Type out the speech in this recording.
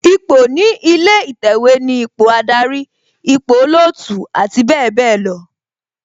Ipò ní ilé ìtẹ̀wẹ̀ ni ipò Ádárì, ipò olootu abbl.